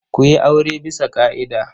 Ku yi aure bisa ƙa'ida.